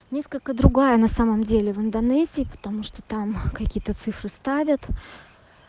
несколько другая на самом деле в индонезии потому что там какие то цифры ставят